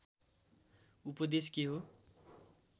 उपदेश के हो